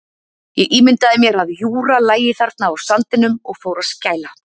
Ég ímyndaði mér að Júra lægi þarna á sandinum og fór að skæla.